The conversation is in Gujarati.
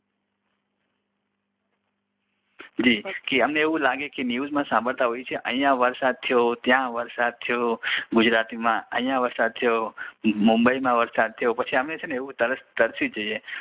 જી અમને એવું લાગે કે ન્યૂઝમાં સાંભળતા હોઈએ છીએ કે અહીંયા વરસાદ થયો ત્યાં વરસાદ થયો ગુજરાતીમાં અહીંયા વરસાદ થયો મુંબઈમાં વરસાદ થયો પછી અમે છેને અમે તરસી જઈએ